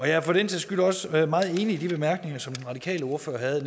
jeg har for den sags skyld også været meget enig i de bemærkninger som den radikale ordfører havde